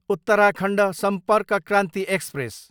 Uttarakhand Sampark Kranti express